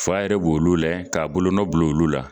Fa yɛrɛ b'olu layɛ k'a bolo nɔ bil'olu la